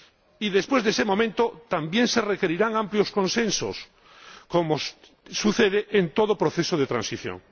Y después de ese momento, también se requerirán amplios consensos —como sucede en todo proceso de transición—.